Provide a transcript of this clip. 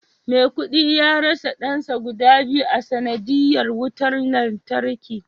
maikudi ya rasa dansa guda biyu a sanadiyyar wutar lantarki